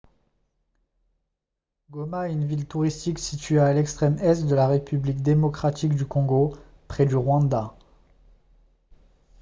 goma est une ville touristique située à l'extrême est de la république démocratique du congo près du rwanda